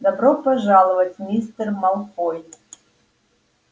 добро пожаловать мистер малфой